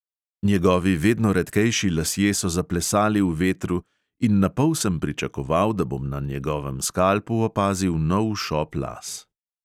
Njegovi vedno redkejši lasje so zaplesali v vetru in na pol sem pričakoval, da bom na njegovem skalpu opazil nov šop las.